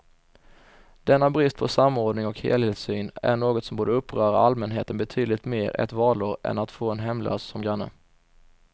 Denna brist på samordning och helhetssyn är något som borde uppröra allmänheten betydligt mer ett valår än att få en hemlös som granne.